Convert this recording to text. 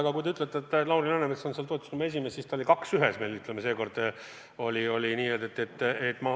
Aga kui te ütlete, et Lauri Läänemets on selle toetusrühma esimees, siis ta oli meil seekord kohal nagu nn kaks ühes.